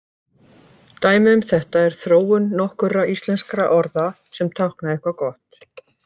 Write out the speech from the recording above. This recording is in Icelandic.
Dæmi um þetta er þróun nokkurra íslenskra orða sem tákna eitthvað gott.